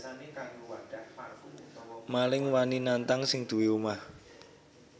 Maling wani nantang sing duwé omah